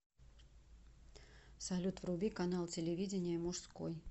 салют вруби канал телевидения мужской